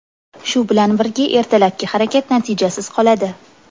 Shu bilan birga ertalabki harakat natijasiz qoladi.